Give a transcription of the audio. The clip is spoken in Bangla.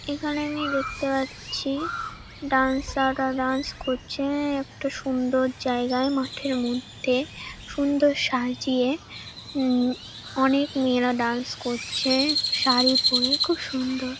এখানে আমি দেখতে পাচ্ছি ডান্সার -রা ড্যান্স করছে-এ একটা সুন্দর জায়গায় মাঠের মধ্যে সুন্দর সাজিয়ে। উম অনেক মেয়েরা ড্যান্স করছে শাড়ি পরে খুব সুন্দর।